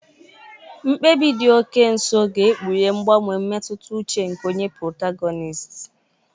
Mkpebi dị oke nso ga-ekpughe mgbanwe mmetụta uche nke onye protagonisiti.